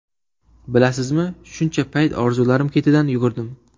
Bilasizmi, shuncha payt orzularim ketidan yugurdim.